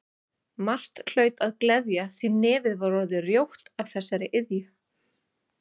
Margt hlaut að gleðja því nefið var orðið rjótt af þessari iðju.